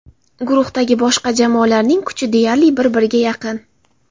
Guruhdagi boshqa jamoalarning kuchi deyarli bir-birga yaqin.